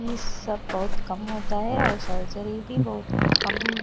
इ सब बहुत कम होता है और सर्जरी भी बहुत कम--